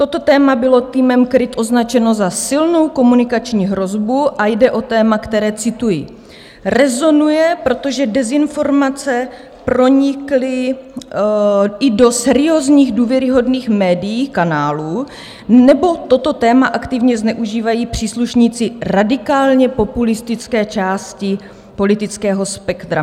Toto téma bylo týmem KRIT označeno za silnou komunikační hrozbu a jde o téma, které, cituji, "rezonuje, protože dezinformace pronikly i do seriózních důvěryhodných médií, kanálů, nebo toto téma aktivně zneužívají příslušníci radikálně populistické části politického spektra."